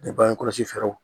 Ni bange kɔlɔsi fɛɛrɛw